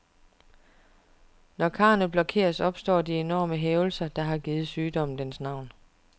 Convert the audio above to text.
Når karrene blokeres, opstår de enorme hævelser, der har givet sygdommen dens navn.